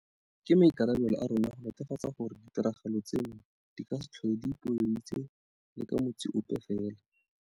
Ke maikarabelo a rona go netefatsa gore ditiragalo tseno di ka se tlhole di ipoeleditse le ka motsi ope fela.